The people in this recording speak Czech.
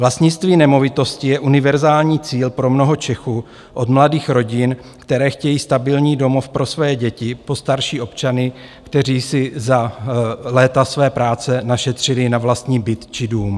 Vlastnictví nemovitosti je univerzální cíl pro mnoho Čechů od mladých rodin, které chtějí stabilní domov pro své děti, po starší občany, kteří si za léta své práce našetřili na vlastní byt či dům.